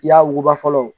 Ya wuguba fɔlɔ